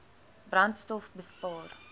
brandstofbespaar